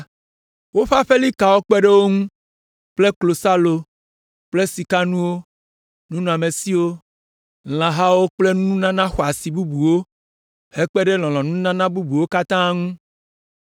Woƒe aƒelikawo kpe ɖe wo ŋu kple klosalo kple sikanuwo, nunɔamesiwo, lãhawo kple nunana xɔasi bubuwo, hekpe ɖe lɔlɔ̃nununana bubuwo katã ŋu.